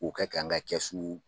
K'o kɛ kan ka kɛsu